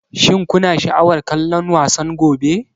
Shin kuna sha'awar kallon wasan gobe?